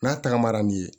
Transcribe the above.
N'a tagamara ni ye